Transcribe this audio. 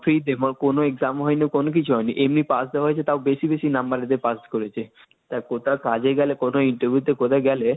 free তে মানে কোন exam হয় নি, কোনো কিছু হয়নি, এমনি পাস যে হয়েছে তাও বেশি বেশি number এতে পাস করেছে তা কোথাও কাজে গেলে কোনো Interview তে কোথায় গেলে,